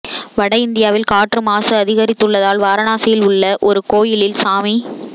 வட இந்தியாவில் காற்று மாசு அதிகரித்துள்ளதால் வாராணசியில் உள்ள ஒரு கோயிலில் சாமி